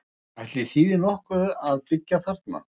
Ætli þýði nú nokkuð að byggja þarna?